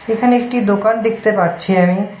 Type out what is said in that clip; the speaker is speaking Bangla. এখানে একটি দোকান দেখতে পাচ্ছি আমি।